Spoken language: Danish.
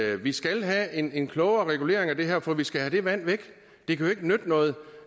at vi skal have en en klogere regulering af det her for vi skal have det vand væk det kan jo ikke nytte noget